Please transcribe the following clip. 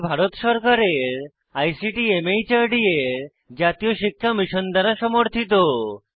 এটি ভারত সরকারের আইসিটি মাহর্দ এর জাতীয় শিক্ষা মিশন দ্বারা সমর্থিত